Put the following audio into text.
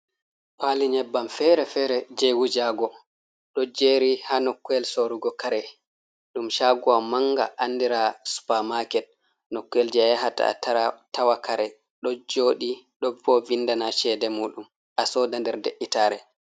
Pali nyebbam fere-fere je wujago ɗo jeri ha nokkuwel sorugo kare dum chaguwam manga andira supamaket. Nokuwel je a yahata a tawa kare ɗo joɗi ɗo vindana chede mujum asoda nder de’itare.